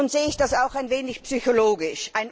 Nun sehe ich das auch ein wenig psychologisch.